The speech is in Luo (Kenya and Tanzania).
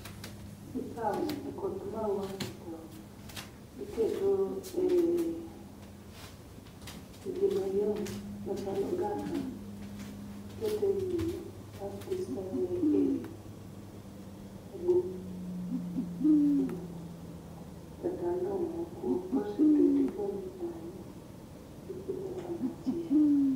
ikawo koth mau ni to iketo e gima yom machal ogaka iketo e wiye kasto isoye e gunia kata lo mokuok ,kosetuo tigole kanyo ti pidhe kama chielo